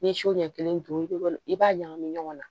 N'i ye so ɲɛ kelen don i bɛ i b'a ɲagami ɲɔgɔn na